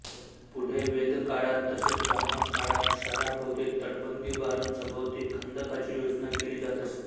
पुढे वेदकाळात तसेच ब्राह्मणकाळात शहरांभोवती तटबंदी उभारून सभोवती खंदकांची योजना केली जात असे